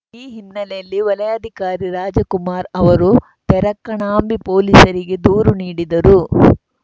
ಈ ಹಿನ್ನೆಲೆಯಲ್ಲಿ ವಲಯಾಧಿಕಾರಿ ರಾಜಕುಮಾರ್‌ ಅವರು ತೆರಕಣಾಂಬಿ ಪೊಲೀಸರಿಗೆ ದೂರು ನೀಡಿದರು